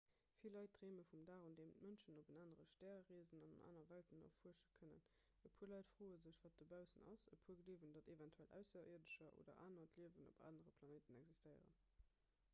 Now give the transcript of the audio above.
vill leit dreeme vum dag un deem d'mënschen op en anere stär reesen an aner welten erfuersche kënnen e puer leit froe sech wat dobaussen ass e puer gleewen datt eventuell ausserierdescher oder anert liewen op anere planéite existéieren